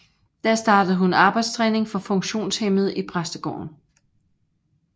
Der startede hun arbejdstræning for funktionshæmmede i præstegården